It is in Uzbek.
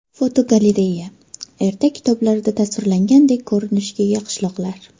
Fotogalereya: Ertak kitoblarida tasvirlangandek ko‘rinishga ega qishloqlar.